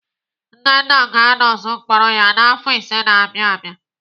Nnenna ga-anọzu mkpọrọ ya n'afọ ise na-abịa abịa.